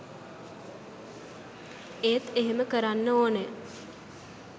එත් එහෙම කරනන් ඕන